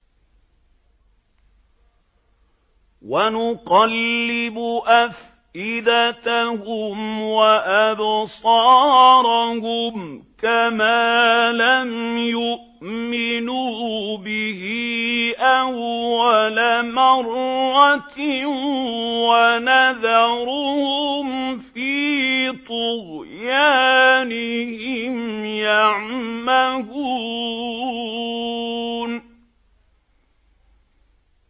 وَنُقَلِّبُ أَفْئِدَتَهُمْ وَأَبْصَارَهُمْ كَمَا لَمْ يُؤْمِنُوا بِهِ أَوَّلَ مَرَّةٍ وَنَذَرُهُمْ فِي طُغْيَانِهِمْ يَعْمَهُونَ